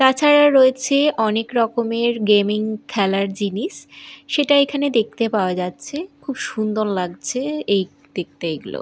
তাছাড়া রয়েছে অনেক রকমের গেমিং খেলার জিনিস সেটা এখানে দেখতে পাওয়া যাচ্ছে খুব সুন্দর লাগছে এই দেখতে এগুলো।